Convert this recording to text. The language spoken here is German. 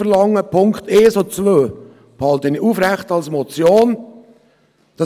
Die Punkte 1 und 2 halte ich als Motion aufrecht.